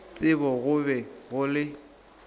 tsebo go be go le